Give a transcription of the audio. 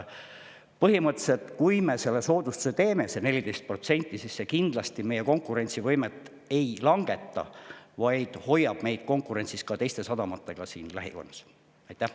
Põhimõtteliselt, kui me teeme selle soodustuse, selle 14%, siis see kindlasti meie konkurentsivõimet ei langeta, vaid hoiab meid konkurentsis teiste lähikonna sadamatega.